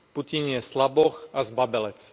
Putin je slaboch a zbabelec.